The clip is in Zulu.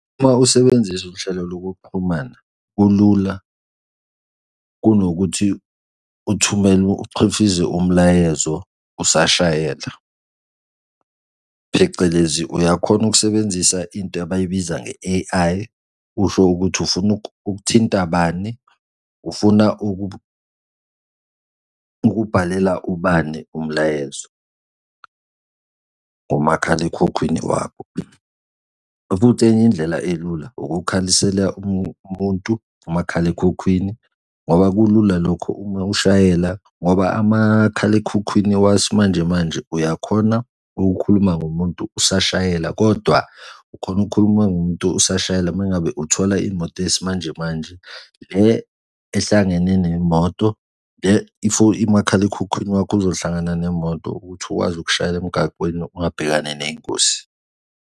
Uma usebenzisa uhlelo lokuxhumana kulula kunokuthi uthumele uchifize umlayezo usashayela, phecelezi uyakhona ukusebenzisa into abayibiza nge-A_I, usho ukuthi ufuna ukuthinta bani? Ufuna ukubhalela ibani umlayezo ngomakhalekhukhwini wakho? Futhi enye indlela elula ukukhalisela umuntu umakhalekhukhwini ngoba kulula lokho uma ushayela ngoba amakhalekhukhwini wasimanjemanje uyakhona ukukhuluma ngomuntu usashayela, kodwa ukhone ukukhuluma ngomuntu usashayela uma ngabe uthola imoto yesimanjemanje le ehlangene nemoto le umakhalekhukhwini wakho uzohlangana nemoto ukuthi ukwazi ukushayela emgaqweni ungabhekani ney'ngozi.